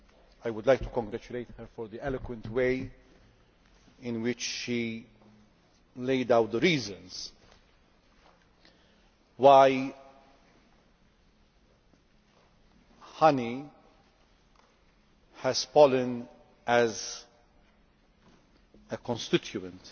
I would like to congratulate her on the eloquent way in which she laid out the reasons why honey has pollen as a constituent